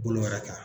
Bolo wɛrɛ kan